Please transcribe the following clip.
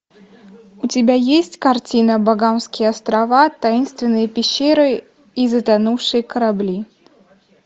у тебя есть картина багамские острова таинсвенные пещеры и затонувшие корабли